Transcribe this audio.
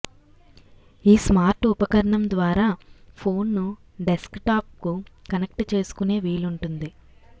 ఈ స్మార్ట్ ఉపకరణం ద్వారా ఫోన్ను డెస్క్టాప్కు కనెక్ట్ చేసుకునే వీలుంటుంది